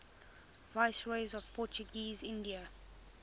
viceroys of portuguese india